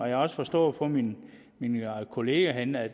jeg har forstået på mine kollegaer herinde at